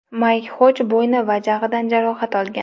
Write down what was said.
Mayk Xoj bo‘yni va jag‘idan jarohat olgan.